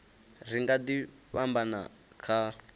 ri nga ḓi fhambana kha